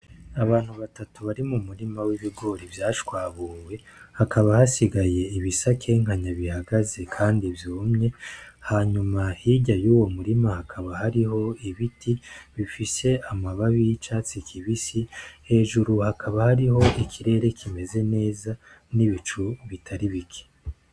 Abantu batatu bari mu murima w'ibigori vyashwahuwe hakaba hasigaye ibisa nk'inkanya bihagaze kandi vyumye hanyuma hirya yuwo murima hakaba hariho ibiti bifise amababi y'icatsi kibisi hejuru hakaba hariho ikirere kimeze neza n'ibicu bitari bike.